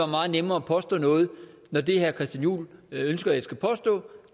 meget nemmere og påstå noget når det herre christian juhl ønsker jeg skal påstå